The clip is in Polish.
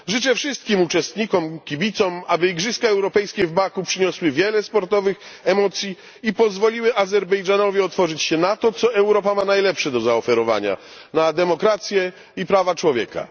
Życzę wszystkim uczestnikom, kibicom, aby Igrzyska Europejskie w Baku przyniosły wiele sportowych emocji i pozwoliły Azerbejdżanowi otworzyć się na to, co Europa ma najlepszego do zaoferowania na demokrację i prawa człowieka.